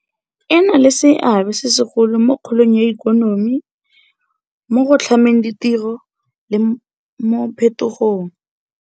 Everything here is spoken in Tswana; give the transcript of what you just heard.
E na le seabe se segolo mo kgolong ya ikonomi, mo go tlhameng ditiro le mo phetogong.